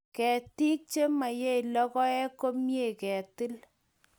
Ketik chemaiyei lokoek koimei ketil